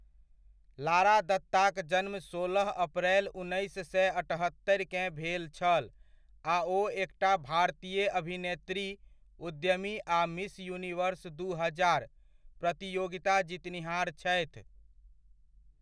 लारा दत्ताक जन्म सोलह अप्रैल, उन्नैस सए अठहत्तरिकेँ भेल छल आ ओ एकटा भारतीय अभिनेत्री, उद्यमी आ मिस यूनिवर्स दू हजार प्रतियोगिता जीतनिहार छथि।